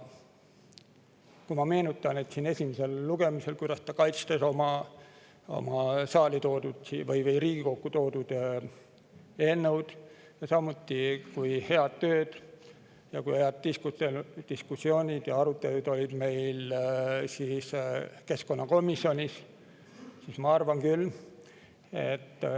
Ma meenutan, et esimesel lugemisel kaitses ta Riigikokku toodud eelnõu samuti kui head tööd, ja meil keskkonnakomisjonis olid head diskussioonid ja arutelud.